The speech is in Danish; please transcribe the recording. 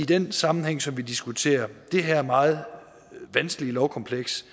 den sammenhæng som vi diskuterer det her meget vanskelige lovkompleks